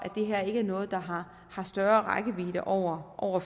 her ikke er noget der har har større rækkevidde over over